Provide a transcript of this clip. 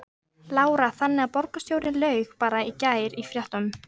Lára: Þannig að borgarstjóri laug bara í gær í fréttum?